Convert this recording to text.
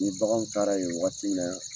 Ni baganw taara yen wagati la